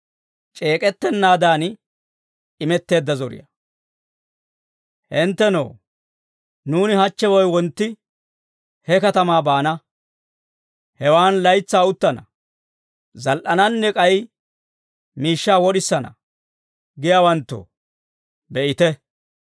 Hinttenoo, «Nuuni hachche woy wontti he katamaa baana; hewan laytsaa uttana; zal"ananne k'ay miishshaa wod'isana» giyaawanttoo, be'ite.